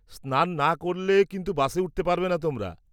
-স্নান না করলে কিন্তু বাসে উঠতে পারবেনা তোমরা।